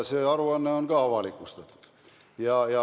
See aruanne on ka avalikustatud.